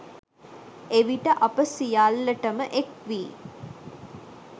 එවිට අප සියල්ලට ම එක් වී